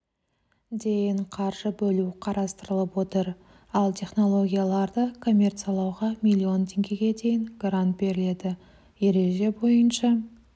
дейін қаржы бөлу қарастырылып отыр ал технологияларды коммерциялауға миллион теңгеге дейін грант беріледі ереже бойынша